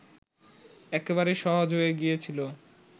একেবারেই সহজ হয়ে গিয়েছিল